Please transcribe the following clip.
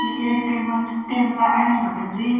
यु ऐक टेबल च टेबला एैंच बटे द्वी --